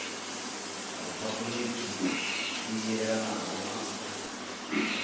riphabuliki i yelanaho na u